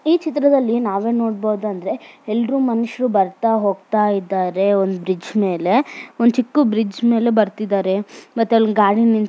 ಈ ಚಿತ್ರದಲ್ಲಿ ನಾವ್ ಏನ್ ನೋಡಬಹುದು ಎಲ್ರು ಮನುಷ್ಯರು ಬರ್ತಾ ಹೋಗ್ತಾ ಇದ್ದಾರೆ ಮತ್ತು ಗಾಡಿ